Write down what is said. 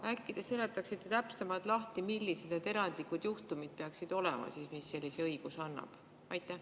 Äkki te seletaksite täpsemalt lahti, millised need erandlikud juhtumid peaksid olema, mis sellise õiguse annavad?